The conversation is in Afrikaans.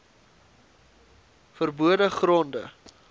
ver bode gronde